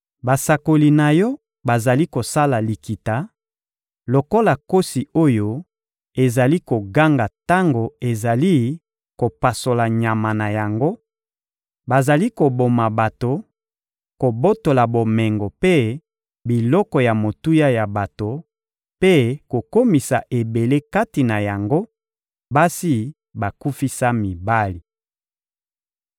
Basakoli na yo bazali kosala likita; lokola nkosi oyo ezali koganga tango ezali kopasola nyama na yango, bazali koboma bato, kobotola bomengo mpe biloko ya motuya ya bato mpe kokomisa ebele kati na yango, basi bakufisa mibali.